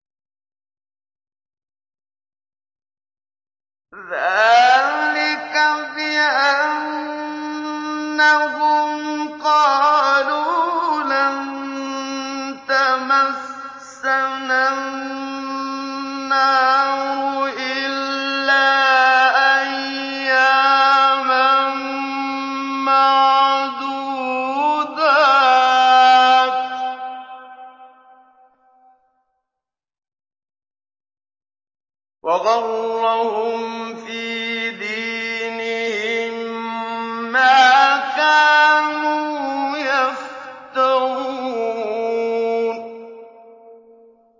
ذَٰلِكَ بِأَنَّهُمْ قَالُوا لَن تَمَسَّنَا النَّارُ إِلَّا أَيَّامًا مَّعْدُودَاتٍ ۖ وَغَرَّهُمْ فِي دِينِهِم مَّا كَانُوا يَفْتَرُونَ